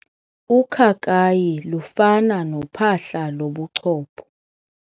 Ukhakayi lufana nophahla lobuchopho.